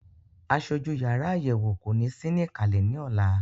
Aṣojú yàrá àyẹ̀wò kò ní sí ní ìkàlẹ̀ ní ọ̀la.